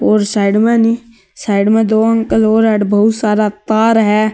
और साइड में नी साइड में दो अंकल और अटै बहुत सारा तार है।